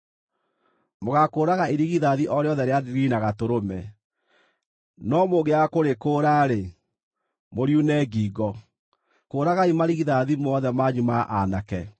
Mũgaakũũraga irigithathi o rĩothe rĩa ndigiri na gatũrũme, no mũngĩaga kũrĩkũũra-rĩ, mũriune ngingo. Kũũragai marigithathi mothe manyu ma aanake.